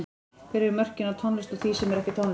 Hvar eru mörkin á tónlist og því sem er ekki tónlist?